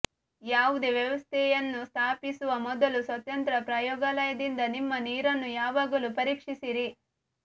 ಯಾವುದೇ ವ್ಯವಸ್ಥೆಯನ್ನು ಸ್ಥಾಪಿಸುವ ಮೊದಲು ಸ್ವತಂತ್ರ ಪ್ರಯೋಗಾಲಯದಿಂದ ನಿಮ್ಮ ನೀರನ್ನು ಯಾವಾಗಲೂ ಪರೀಕ್ಷಿಸಿರಿ